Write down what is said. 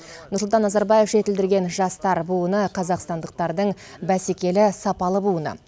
нұрсұлтан назарбаев жетілдірген жастар буыны қазақстандықтардың бәсекелі сапалы буыны